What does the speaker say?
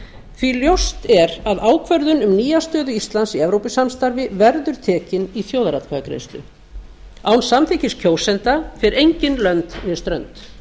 því ljóst er að ákvörðun um nýja stöðu íslands í evrópusamstarfi verður tekin í þjóðaratkvæðagreiðslu án samþykkis kjósenda fer enginn lönd né strönd